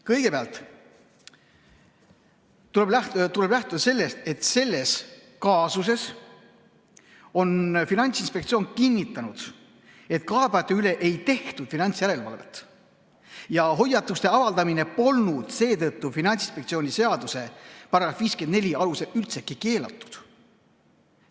Kõigepealt tuleb lähtuda sellest, et selles kaasuses on Finantsinspektsioon kinnitanud, et kaebajate üle ei tehtud finantsjärelevalvet ja hoiatuste avaldamine polnud seetõttu Finantsinspektsiooni seaduse § 54 alusel üldsegi keelatud.